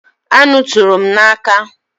Anụ tụrụ m n’aka